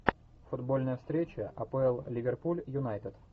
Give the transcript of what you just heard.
футбольная встреча апл ливерпуль юнайтед